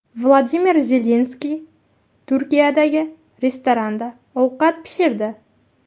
Vladimir Zelenskiy Turkiyadagi restoranda ovqat pishirdi.